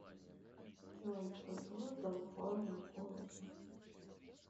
джой кто создал форма голоса